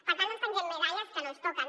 per tant no ens pengem medalles que no ens toquen